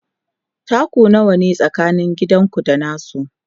taku nawa ne tsakanin gidanku da nasu?